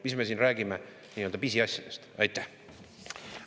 Mis me siin räägime nii-öelda pisiasjadest?